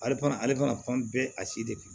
Ale fana ale fana fan bɛɛ a si de bɛ